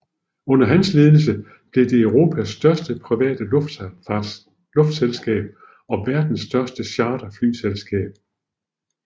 Under hans ledelse blev det Europas største private luftselskab og verdens største charterflyselskab